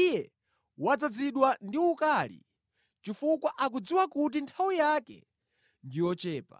Iye wadzazidwa ndi ukali chifukwa akudziwa kuti nthawi yake ndi yochepa.”